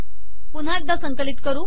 पुन्हा एकदा हे संकलित करू